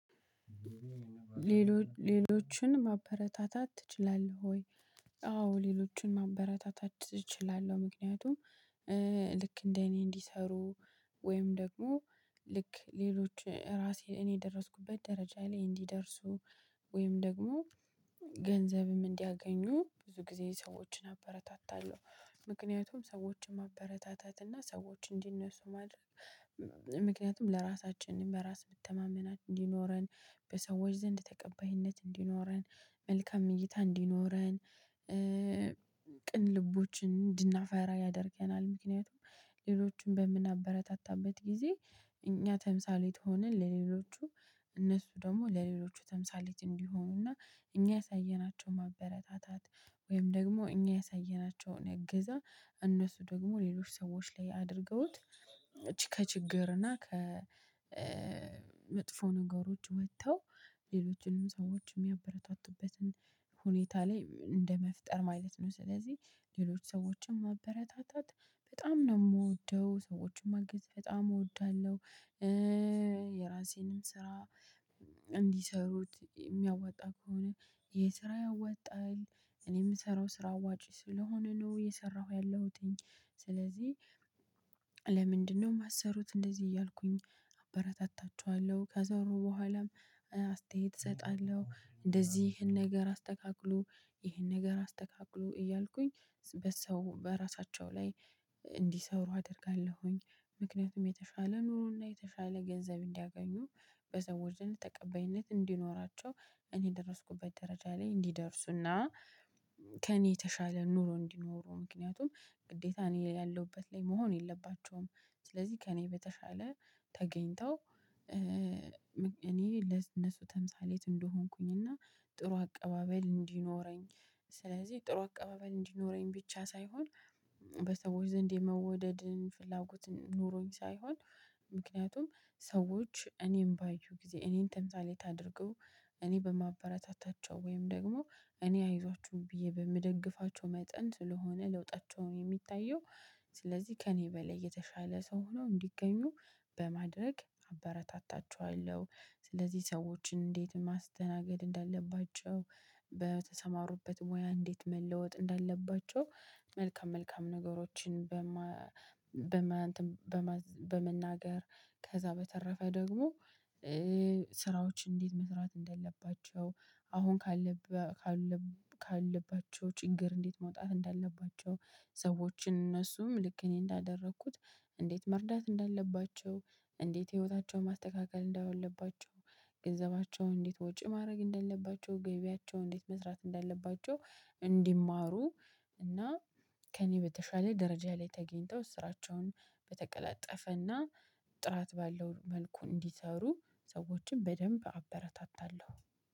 ሌሎችን ማበረታታት ትችላለህ ወይ? አዎ ሌሎችን ማበረታታት እችላለሁ። ምክንያቱም ልክ እንደ እኔ እንዲሰሩ ወይም ደግሞ ልክ ሌሎች ራሴ እኔ የደረስኩበት ደረጃ ላይ እንዲደርሱ ወይም ደግሞ ገንዘብም እንዲያገኙ ብዙ ጊዜ ሰዎችን አበረታታለሁ። ምክንያቱም ሰዎችን ማበረታታት እና ሰዎች እንዲነሱ ማድረግ ምክንያቱም ለራሳችን በራስ መተማመናችን እንዲኖረን በሰዎች ዘንድ ተቀባይነት እንዲኖረን መልካም እይታ እንዲኖረን ቅን ልቦችን እንድናፈራ ያደርገናል። ምክንያቱም ሌሎችን በምናበረታታበት ጊዜ እኛ ተምሳሌት ሆነን ለሌሎቹ እነሱ ደግሞ ለሌሎቹ ተምሳሌት እንዲሆኑና እኛ ያሳየናቸው ማበረታታት ወይም ደግሞ እኛ ያሳየናቸውን እገዛ እነሱ ደግሞ ሌሎች ሰዎች ላይ አድርገውት እቺ ከችግር እና ከመጥፎ ነገሮች ወጥተው ሌሎችንም ሰዎችንም ያበረታቱበትን ሁኔታ ላይ እንደመፍጠር ማየት ነው። ስለዚህ ሌሎች ሰዎችን ማበረታታት በጣም ነው የምወደው ሰዎችን ማግዘት በጣም እወዳለሁ። የራሴንም ስራ እንዲሰሩት የሚያዋጣ ከሆነ የስራ ያወጣል እኔ የምሰራው ስራ አዋጭ ስለሆነ ነው የሰራሁት ያለሁትኝ። ስለዚህ ማሰሩት እንደዚህ እያልኩኝ አበረታታቸዋለሁ ከዛው በኋላም አስተያየት እሰጣለሁ እንደዚህ ይሄን ነገር አስተካክሉ ይሄን ነገር አስተካክሉ እያልኩኝ በሰው በራሳቸው ላይ እንዲሰሩ አደርጋለሁኝ። ምክንያቱም የተሻለ ኑሮና የተሻለ ገንዘብ እንዲያገኙ በሰው ውስጥ ተቀበይነት እንዲኖራቸው እኔ የደረስኩበት ደረጃ ላይ እንዲደርሱና ከእኔ የተሻለ ኑሮ እንዲኖሩ ምክንያቱም ግዴታ እኔ ያለሁበት ላይ መሆን የለባቸውም። ስለዚህ ከእኔ በተሻለ ተገኝተው እኔ ለእነሱ ተምሳሌት እንደሆንኩኝ እና ጥሩ አቀባበል እንዲኖረኝ። ስለዚህ ጥሩ አቀባበል እንዲኖረኝ ብቻ ሳይሆን በሰዎች ዘንድ የመውደድን ፍላጎትን ኑሮኝ ሳይሆን ምክንያቱም ሰዎች እኔም ባይዩ ጊዜ እኔን ተምሳሌ ታድርገው። እኔ በማበረታታቸው ወይም ደግሞ እኔ አይዟችሁ ብዬ በምደግፋቸው መጠን ስለሆነ ለውጣቸውን የሚታየው ስለዚህ ከእኔ በላይ የተሻለ ሰው ሆኖ እንዲገኙ በማድረግ አበረታታቸዋለሁ። ስለዚህ ሰዎችን እንዴት ማስተናገድ እንዳለባቸው በተሰማሩበት ሙያ እንዴት መለወጥ እንዳለባቸው መልካም መልካም ነገሮችን። በመናገር ከዛ በተረፈ ደግሞ ስራዎች እንዴት መስራት እንዳለባቸው አሁን ካለባቸው ችግር እንዴት መውጣት እንዳለባቸው። ሰዎችን እነሱም ልክ እኔ እንዳደረኩት እንዴት መርዳት እንዳለባቸው እንዴት ህይወታቸውን ማስተካከል እንዳለባቸው ገንዘባቸውን እንዴት ወጪ ማድረግ እንደለባቸው ገቢያቸው እንዴት መስራት እንዳለባቸው። እንዲማሩ እና ከእኔ በተሻለ ደረጃ ላይ ተገኝተው እስራቸውን በተቀላጠፈ እና ጥራት ባለው መልኩ እንዲሰሩ ሰዎችን በደንብ አበረታታለሁ።